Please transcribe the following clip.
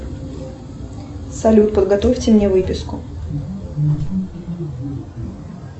салют подготовьте мне выписку